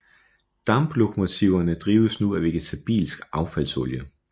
Damplokomotiverne drives nu af vegetabilsk affaldsolie